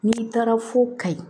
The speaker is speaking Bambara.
N'i taara fo kayi